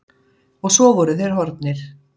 Og svo voru þeir horfnir.